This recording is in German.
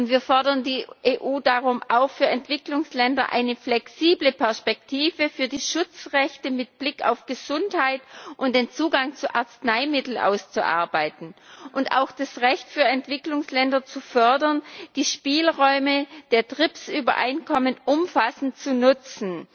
Wir fordern die EU deshalb auf, für Entwicklungsländer eine flexible Perspektive für die Schutzrechte mit Blick auf Gesundheit und den Zugang zu Arzneimitteln auszuarbeiten, und auch das Recht für Entwicklungsländer zu fördern, die Spielräume der Trips Übereinkommen umfassend zu nutzen.